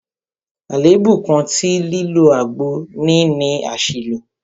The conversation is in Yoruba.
Àlèébú kan tí lílo àgbo ní ni àṣìlò.